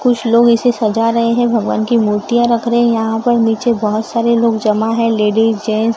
कुछ लोग इसे सजा रहे हैं भगवान की मूर्तियां रख रहे हैं यहां पर नीचे बहोत सारे लोग जमा है लेडिस जेंट्स --